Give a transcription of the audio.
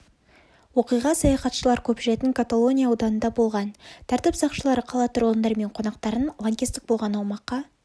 оқиға саяхатшылар көп жүретін каталония ауданында болған тәртіп сақшылары қала тұрғындары мен қонақтарын лаңкестік болған аумаққа